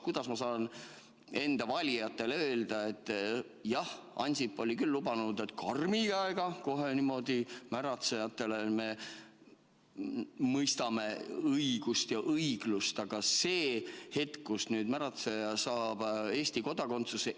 Kuidas ma saan enda valijatele öelda, et jah, Ansip küll lubas, et kohe niimoodi karmi käega mõistame märatsejatele õigust ja õiglust, aga nüüd saab märatseja Eesti kodakondsuse?